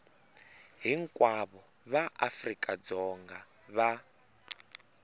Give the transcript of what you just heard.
hinkwavo va afrika dzonga va